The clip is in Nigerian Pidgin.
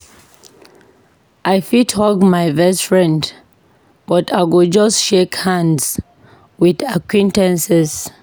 I fit hug my best friend, but I go just shake hands with acquaintances.